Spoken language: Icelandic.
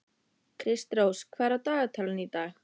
Kristrós, hvað er á dagatalinu í dag?